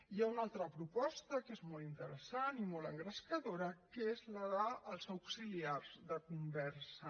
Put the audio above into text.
hi ha una altra proposta que és molt interessant i molt engrescadora que és la dels auxiliars de conversa